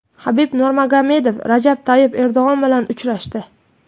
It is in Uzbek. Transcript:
Habib Nurmagomedov Rajab Toyyib Erdo‘g‘on bilan uchrashdi.